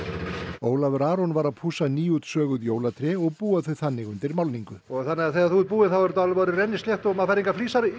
Ólafur Aron var að pússa jólatré og búa þau þannig undir málningu þannig að þegar þú ert búinn þá er þetta rennislétt og maður fær engar flísar